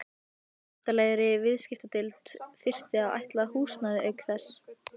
Væntanlegri viðskiptadeild þyrfti að ætla húsnæði auk þessa.